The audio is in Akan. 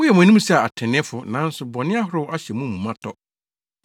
Moyɛ mo anim sɛ atreneefo, nanso bɔne ahorow ahyɛ mo mu ma tɔ.